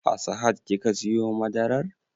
A sahad kika siyo madarar?